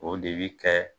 O de bi kɛ